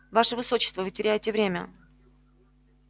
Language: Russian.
ваше высочество вы теряете время